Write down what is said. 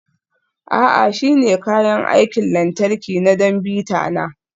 A'a, shi ne kayan aikin lantarki na don bita na.